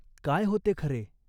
काय होते खरे ?